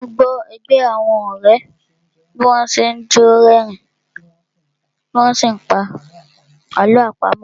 Mo gbọ́ ẹgbẹ́ àwọn ọ̀rẹ́ bí wọ́n n ṣe jọ́ ni rí ẹ̀rín tí wọ́n n sí pa àlọ́ àpamọ́